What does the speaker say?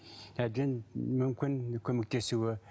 әбден мүмкін көмектесуі